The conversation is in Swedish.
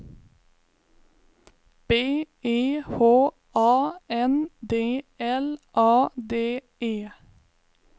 B E H A N D L A D E